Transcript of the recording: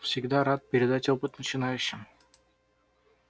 всегда рад передать опыт начинающим